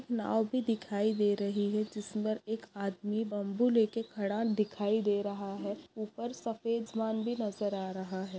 नाव भी दिखाई दे रही है जिसपर एक आदमी बम्बू लेके खड़ा दिखाई दे रहा है उपर सफ़ेद आसमान भी नज़र आ रहा है।